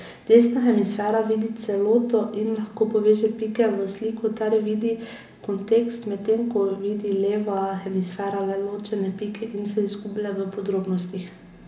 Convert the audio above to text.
Desna hemisfera vidi celoto in lahko poveže pike v sliko ter vidi kontekst, medtem ko vidi leva hemisfera le ločene pike in se izgublja v podrobnostih.